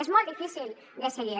és molt difícil de seguir